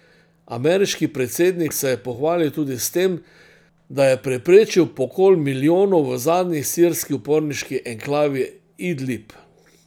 Ameriški predsednik se je pohvalil tudi s tem, da je preprečil pokol milijonov v zadnji sirski uporniški enklavi Idlib.